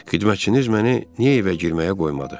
Xidmətçiniz məni niyə evə girməyə qoymadı?